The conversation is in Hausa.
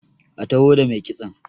a taho da mai kitson!